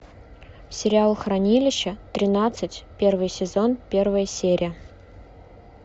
сериал хранилище тринадцать первый сезон первая серия